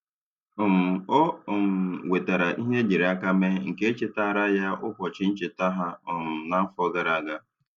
um Ọ um wetaara ihe ejiri aka mee nke chetaara ya ụbọchị ncheta ha um na-afọ gara aga.